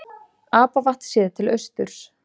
Apavatn séð til austurs.